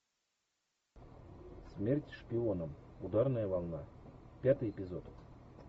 смерть шпионам ударная волна пятый эпизод